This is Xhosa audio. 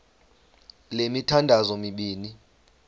le mithandazo mibini